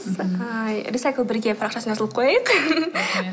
ыыы рисайклбірге парақшасына жазылып қояйық